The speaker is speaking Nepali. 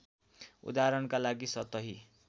उदाहरणका लागि सतही